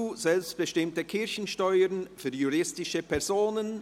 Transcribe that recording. «Selbstbestimmte Kirchensteuer für juristische Personen.